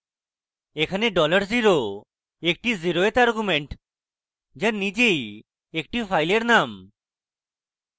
এখানে $0 dollar zero একটি zeroeth argument যা নিজেই একটি file name